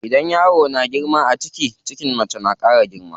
Idan yaro na girma a ciki, cikin mace na ƙara girma.